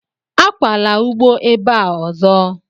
Akwala ugbo ebe a ozo!